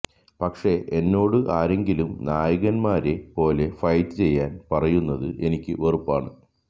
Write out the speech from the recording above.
പക്ഷേ എന്നോട് ആരെങ്കിലും നായകന്മാരെ പോലെ ഫൈറ്റ് ചെയ്യാന് പറയുന്നത് എനിക്ക് വെറുപ്പാണ്